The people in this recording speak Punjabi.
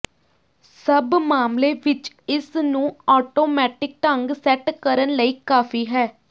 ਸਭ ਮਾਮਲੇ ਵਿਚ ਇਸ ਨੂੰ ਆਟੋਮੈਟਿਕ ਢੰਗ ਸੈੱਟ ਕਰਨ ਲਈ ਕਾਫ਼ੀ ਹੈ